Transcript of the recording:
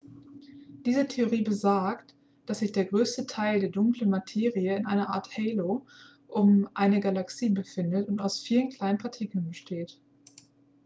diese theorie besagt dass sich der größte teil der dunklen materie in einer art halo um eine galaxie befindet und aus vielen kleinen partikeln besteht